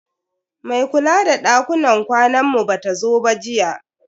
Mai kula da dakunan kwanan mu bata zo ba jiya.